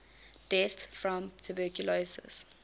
deaths from tuberculosis